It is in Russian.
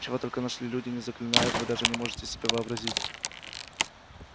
чего только наши люди не заклинают вы даже не можете себе вообразить